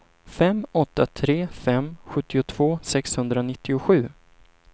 fem åtta tre fem sjuttiotvå sexhundranittiosju